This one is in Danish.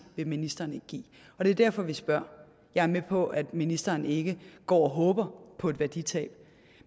vil ministeren ikke give og det er derfor vi spørger jeg er med på at ministeren ikke går og håber på et værditab